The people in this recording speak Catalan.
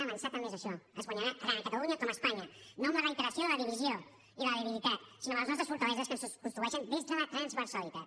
avançar també és això es guanyarà tant a catalunya com a espanya no amb la reiteració de la divisió i de la debilitat sinó amb les nostres fortaleses que es construeixen des de la transversalitat